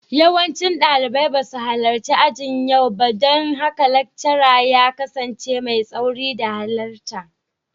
Yawancin dalibai ba su halarci ajin yau ba don haka laccara ya kasance mai tsauri da halarta.